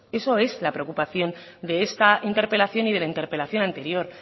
eso es la preocupación de esta interpelación y de la interpelación anterior